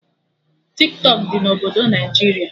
Tiktọk dị na obodo Naijiria